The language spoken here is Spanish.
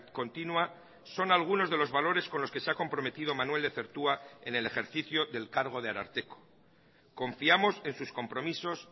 continua son algunos de los valores con los que se ha comprometido manuel lezertua en el ejercicio del cargo de ararteko confiamos en sus compromisos